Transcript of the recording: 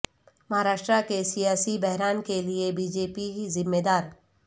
مہاراشٹرا کے سیاسی بحران کے لیے بی جے پی ذمہ دار